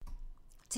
TV 2